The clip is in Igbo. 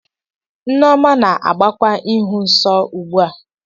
Nneoma na-agbakwa ịhụ nsọ ugbu a.